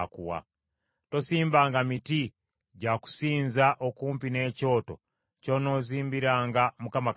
Tosimbanga miti gya kusinza okumpi n’ekyoto ky’onoozimbiranga Mukama Katonda wo;